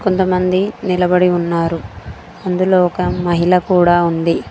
కొంతమంది నిలబడి ఉన్నారు అందులో ఒక మహిళ కూడా ఉంది.